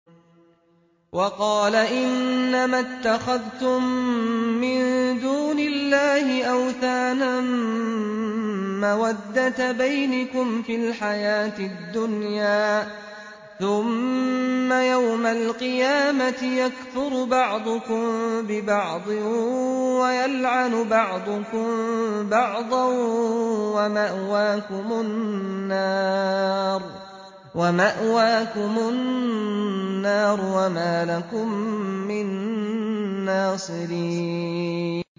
وَقَالَ إِنَّمَا اتَّخَذْتُم مِّن دُونِ اللَّهِ أَوْثَانًا مَّوَدَّةَ بَيْنِكُمْ فِي الْحَيَاةِ الدُّنْيَا ۖ ثُمَّ يَوْمَ الْقِيَامَةِ يَكْفُرُ بَعْضُكُم بِبَعْضٍ وَيَلْعَنُ بَعْضُكُم بَعْضًا وَمَأْوَاكُمُ النَّارُ وَمَا لَكُم مِّن نَّاصِرِينَ